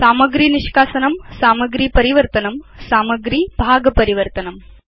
सामग्री निष्कासनं सामग्री परिवर्तनं सामग्री भाग परिवर्तनम्